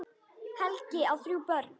Helgi á þrjú börn.